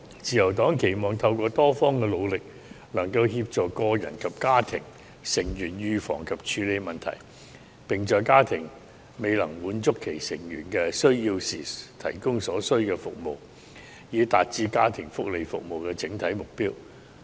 自由黨期望透過多方的努力，能夠協助個人及家庭成員預防及處理問題，並在家庭未能滿足其成員的需要時，提供所需服務，以達致家庭福利服務的整體目標。